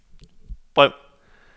brev